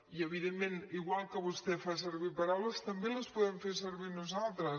i evidentment igual que vostè fa servir paraules també les podem fer servir nosaltres